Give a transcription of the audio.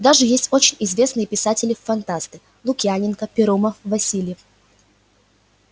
даже есть очень известные писатели фантасты лукьяненко перумов васильев